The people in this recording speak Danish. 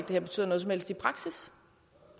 det betyder noget som helst i praksis